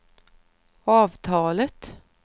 avtalet